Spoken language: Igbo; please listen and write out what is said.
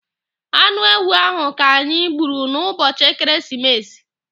Anụ ewu ahụ ka anyị gburu n'ụbọchị ekeresimesi.